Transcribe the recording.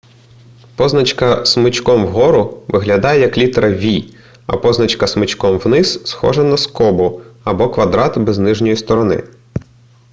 позначка смичком вгору виглядає як літера v а позначка смичком вниз схожа на скобу або квадрат без нижньої сторони